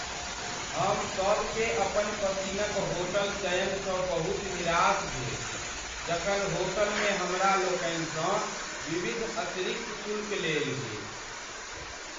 हम सब के अपन पसिन्नक होटल चयन स बहुत निराशा भेल जखन होटल में हमरा लोकनि सँ विविध अतिरिक्त शुल्क लेल गेल।